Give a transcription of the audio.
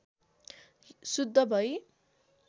शुद्ध भई